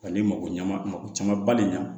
Ani mago ɲamako camanba de ɲa